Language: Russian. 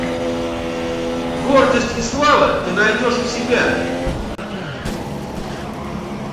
гордость и слава ты найдешь у себя